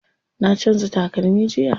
Na canza takalmi jiya.